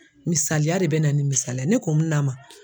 Misaliya de bɛ na ni misaliya ye ne ko n na ma